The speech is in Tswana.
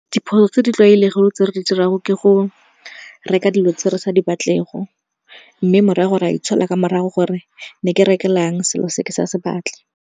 Diphoso tse di tlwaelego tse re di dira go ke go reka dilo tse re sa di batle go, mme morago rea itshola ka morago gore ne ke rekelang selo se ke sa se batle.